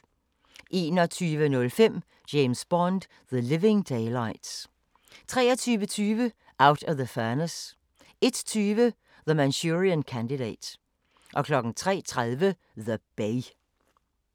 21:05: James Bond: The Living Daylights 23:20: Out of the Furnace 01:20: The Manchurian Candidate 03:30: The Bay